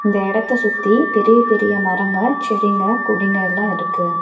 இந்த எடத்த சுத்தி பெரிய பெரிய மரங்க செடிங்க கொடிங்க எல்லா இருக்கு.